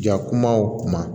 Ja kuma o kuma